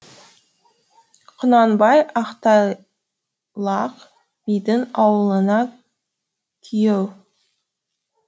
құнанбай ақтайлақ бидің ауылына күйеу